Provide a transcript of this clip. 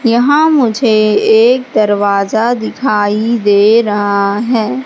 यहां मुझे एक दरवाजा दिखाई दे रहा है।